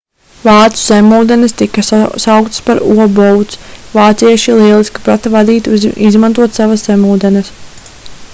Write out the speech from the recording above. vācu zemūdenes tika sauktas par u-boats vācieši lieliski prata vadīt un izmantot savas zemūdenes